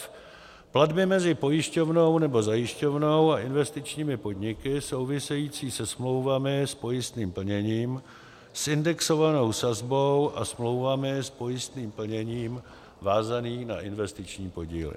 f) platby mezi pojišťovnou nebo zajišťovnou a investičními podniky související se smlouvami s pojistným plněním s indexovanou sazbou a smlouvami s pojistným plněním vázaným na investiční podíly;